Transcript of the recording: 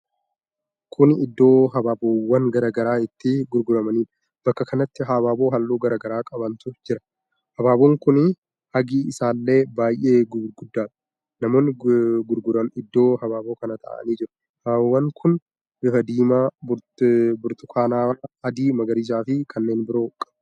Kun iddoo habaabowwan garaa garaa itti gurguramuudha. Bakka kanatti habaaboo halluu garaa gara qabantu jira. Habaaboon kuni hagi isaallee baay'ee gurguddaadha. Namoonni gurguran iddoo habaaboo kanaa ta'aanii jiru. Habaabowwan kun bifa diimaa, burtukaanawaa, adii, magariisa fi kanneen biroo qab.